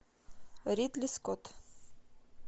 ридли скотт